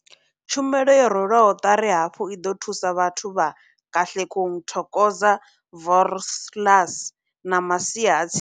Tshumelo yo rwelwaho ṱari hafhu i ḓo thusa vhathu vha Katlehong, Thokoza, Vosloorus na masia a tsini.